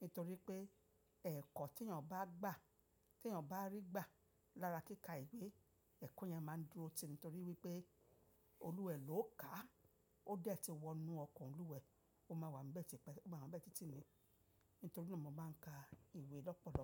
Nítorí pé ẹ̀kọ́ tí èèyàn bá gbà, tí èèyàn bá rí gbà lára kíka ìwé, ẹ̀kọ́ yẹn máa ń dúró tì. Nítorí wípé Olúwà è ló ká, ó dẹ́ ti wọ inú ọkàn Olúwa, ó máa wà ńbẹ́ tìpẹ́, ó máa wà ńbẹ́ títí ni. Nítorí náà mo máa ń ka ìwé lọ́pọ̀lọpọ̀